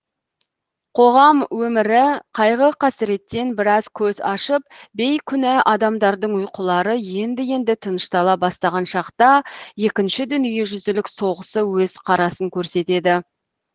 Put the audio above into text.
қоғам өмірі қайғы қасіреттен біраз көз ашып бейкүна адамдардың ұйқылары енді енді тыныштала бастаған шақта екінші дүниежүзілік соғысы өз қарасын көрсетеді